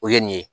O ye nin ye